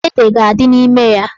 Ede ga-adị n'ime ya.